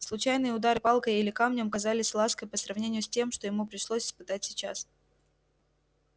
случайные удар палкой или камнем казались лаской по сравнению с тем что ему пришлось испытать сейчас